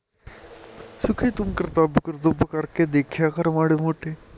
ਸੁਖੀ ਤੂੰ ਕਰਤਵ ਕਰਤੁਵ ਕਰਕੇ ਦੇਖਿਆ ਕਰ ਮਾੜੇ ਮੋਟੇ